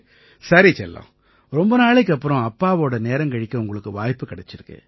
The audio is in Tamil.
சரி செல்லம் ரொம்ப நாளைக்கு அப்புறம் அப்பாவோட நேரம் கழிக்க உங்களுக்கு வாய்ப்பு கிடைச்சிருக்கு